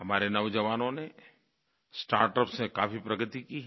हमारे नौजवानों ने स्टार्टअप से काफ़ी प्रगति की है